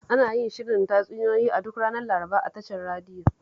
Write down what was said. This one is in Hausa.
Ana yin shirin tatsuniyoyi duk ranar Laraba a tashar radiyon